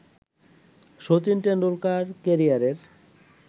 শচীন টেন্ডুলকার ক্যারিয়ারের